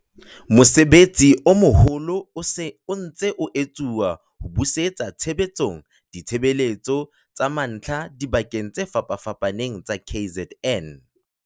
Mosebetsi o moholo o se o ntse o etsuwa ho busetsa tshebetsong ditshebeletso tsa mantlha dibakeng tse fapafapaneng tsa KZN.